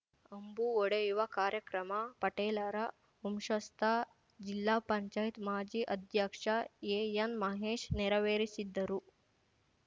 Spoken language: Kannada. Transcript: ಅಂಬು ಹೊಡೆಯುವ ಕಾರ್ಯಕ್ರಮ ಪಟೇಲರ ವಂಶಸ್ಥ ಜಿಲ್ಲಾ ಪಂಚಾಯತ್ ಮಾಜಿ ಅಧ್ಯಕ್ಷ ಎಎನ್‌ಮಹೇಶ್‌ ನೆರೆವೇರಿಸಿದ್ದರು